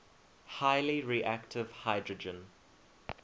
highly reactive hydrogen